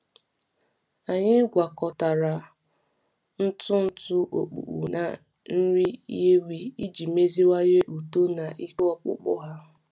Anyị gwakọtara ntụ ntụ ọkpụkpụ na nri ewi iji meziwanye uto na ike ọkpụkpụ ha.